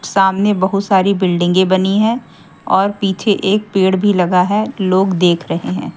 सामने बहुत सारी बिल्डिंगे की बनी हैं और पीछे एक पेड़ भी लगा है लोग देख रहे हैं।